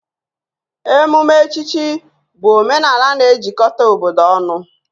Emume echichi bụ omenala na-ejikọta obodo ọnụ